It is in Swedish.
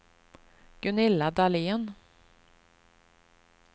Gunilla Dahlén